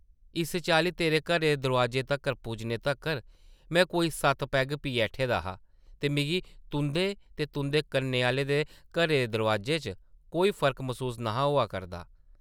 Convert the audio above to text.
इस चाल्ली तेरे घरै दे दरोआजे तक्कर पुज्जने तक्कर में कोई सत्त पैग पी ऐठे दा हा ते मिगी तुंʼदे ते तुंʼदे कन्नै आह्लें दे घरै दे दरोआजे च कोई फर्क मसूस न’हा होआ करदा ।